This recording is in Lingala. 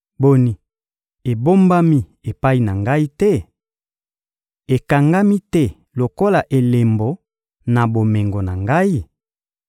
«Boni, ebombami epai na Ngai te? Ekangami te lokola elembo na bomengo na Ngai?